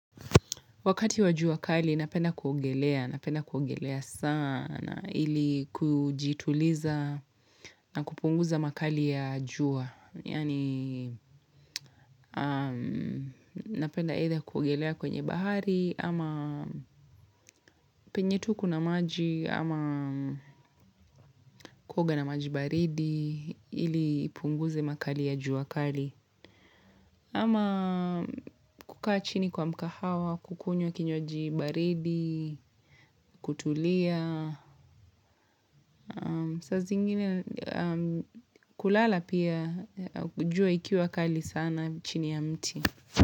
Wakati wa jua kali, napenda kuogelea, napenda kuogelea sana, ili kujituliza na kupunguza makali ya jua Yani, napenda either kuogelea kwenye bahari, ama penye tu kuna maji, ama kuoga na maji baridi, ili ipunguze makali ya jua kali. Ama kukaa chini kwa mkahawa, kukunywa kinywaji baridi, kutulia. Saa zingine kulala pia jua ikiwa kali sana chini ya mti.